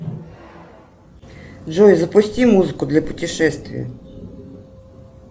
джой запусти музыку для путешествия